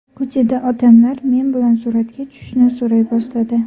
Ko‘chada odamlar men bilan suratga tushishni so‘ray boshladi.